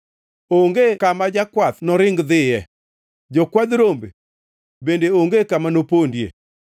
Onge kama jakwath noring dhiye, jokwadh rombe bende onge kama nopondie.